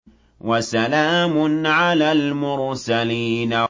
وَسَلَامٌ عَلَى الْمُرْسَلِينَ